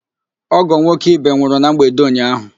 Ọ́gọ̀ nwoke Ibe nwụrụ na mgbede ụnyaahụ.